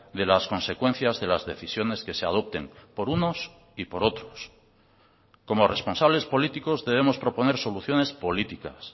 de las consecuencias de las decisiones que se adopten por unos y por otros como responsables políticos debemos proponer soluciones políticas